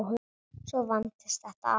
Svo vandist þetta allt.